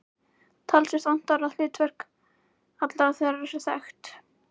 Talsvert vantar á að hlutverk allra þeirra sé þekkt.